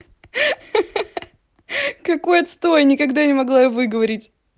ха-ха какой отстой никогда не могла её выговорить